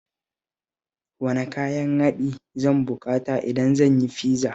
Wane kayan haɗi zan buƙata idan zan yi fiza?